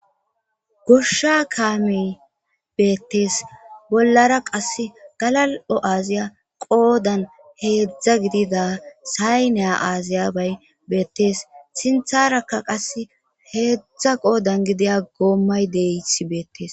Gosha kaamiy beettees bollara qas galal7o aaziya qoodan heedzdza gidida say neya aaziya bay beettees sintharaka qas heedzdza qoodan gidiya goommay deysi beettees